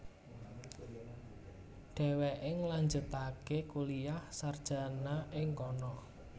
Dhéwéké ngelanjutaké kuliah sarjana ing kono